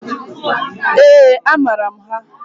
Eeǃ A maara m ha.